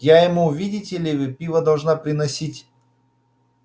я ему видите ли пиво должна приносить